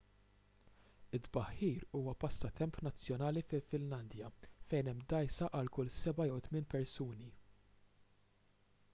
it-tbaħħir huwa passatemp nazzjonali fil-finlandja fejn hemm dgħajsa għal kull seba' jew tmien persuni